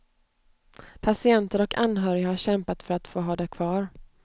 Patienter och anhöriga har kämpat för att få ha det kvar.